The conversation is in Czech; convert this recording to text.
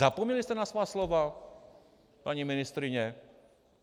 Zapomněli jste na svá slova, paní ministryně?